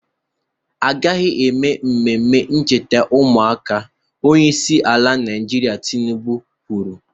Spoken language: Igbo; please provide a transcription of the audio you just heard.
Agaghị eme emume ncheta ụmụaka! Onyeisi ala Naịjirịa Tinubu kwuru